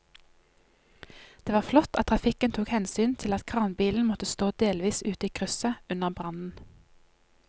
Det var flott at trafikken tok hensyn til at kranbilen måtte stå delvis ute i krysset under brannen.